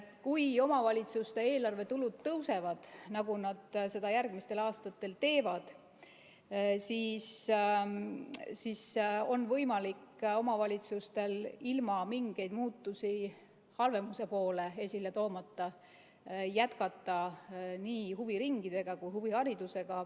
Kui omavalitsuste eelarvetulud tõusevad, nagu nad seda järgmistel aastatel teevad, siis on omavalitsustel võimalik ilma mingeid muutusi halvemuse poole esile kutsumata jätkata nii huviringide kui ka huviharidusega.